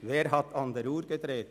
«Wer hat an der Uhr gedreht?